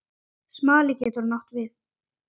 Smali getur átt við